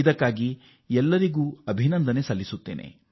ಇದಕ್ಕಾಗಿ ನಾನು ನಿಮ್ಮೆಲ್ಲರಿಗೂ ಧನ್ಯವಾದ ಅರ್ಪಿಸುತ್ತೇವೆ